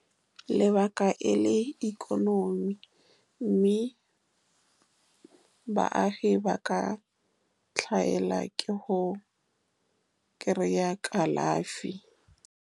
Lebaka e le ikonomi, mme baagi ba ka tlhaela ke go kry-a kalafi.